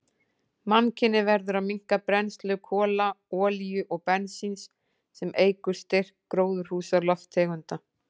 Mannkynið verður að minnka brennslu kola, olíu og bensíns, sem eykur styrk gróðurhúsalofttegunda.